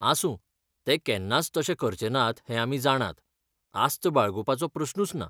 आसूं, ते केन्नाच तशें करचेनात हें आमी जाणात, आस्त बाळगुपाचो प्रस्नूच ना.